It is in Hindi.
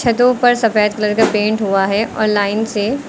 छतो पर सफेद कलर का पेंट हुआ है और लाइन से--